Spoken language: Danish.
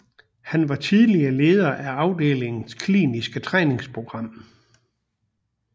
Han var tidligere leder af afdelingens kliniske træningsprogram